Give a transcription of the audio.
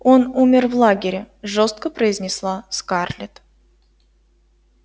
он умер в лагере жёстко произнесла скарлетт